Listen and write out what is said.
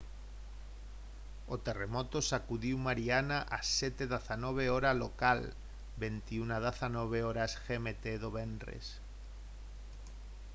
o terremoto sacudiu mariana ás 07:19 h hora local 21:19 h gmt do venres